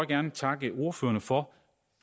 gerne takke ordførerne for